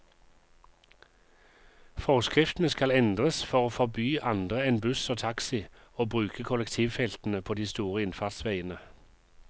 Forskriftene skal endres for å forby andre enn buss og taxi å bruke kollektivfeltene på de store innfartsveiene.